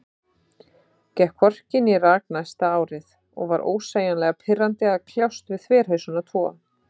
Gekk hvorki né rak næsta árið, og var ósegjanlega pirrandi að kljást við þverhausana tvo.